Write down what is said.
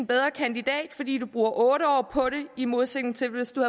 bedre kandidat fordi du bruger otte år på det i modsætning til hvis du